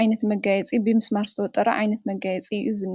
ዓይነት መጋየፂ ብምስማር ዝተወጠረ ዓይነት መጋየፂ እዝኒ ።